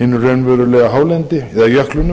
hinu raunverulega hálendi eða jöklunum